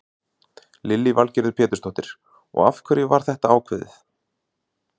Lillý Valgerður Pétursdóttir: Og af hverju var þetta ákveðið?